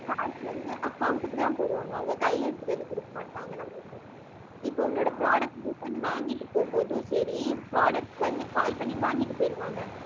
காசு வந்து account க்குதான் போடுவாங்க. அவங்க கையில எடுத்திட்டு வந்து குடுக்க மாட்டாங்க நமக்கு. இப்ப உன்னோட product return வாங்கிட்டு போகும் போதும், சரி product வந்து call பண்ணி வாங்கிட்டு போயிருவாங்க